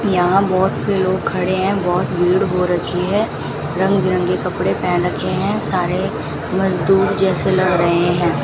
यहाँ बहोत से लोग खड़े हैं बहोंत भीड़ हो रखी हैं रंगबिरंगे कपड़े पहन रखे हैं सारे मजदूर जैसे लग रहे हैं।